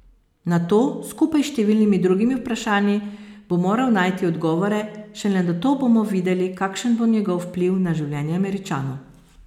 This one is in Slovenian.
Na to, skupaj s številnimi drugimi vprašanji, bo moral najti odgovore, šele nato bomo videli, kakšen bo njegov vpliv na življenje Američanov.